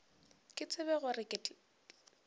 ke tsebe gore ke tla